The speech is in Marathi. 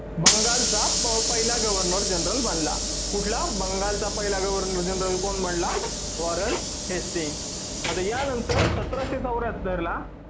बंगालचा पहिला governor general बनला. कुठला बंगालचा पहिला governor general कोण बनला Warren Hastings आता या नंतर सतराशे चौऱ्ह्यात्तर ला